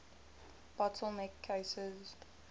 bottle neck cases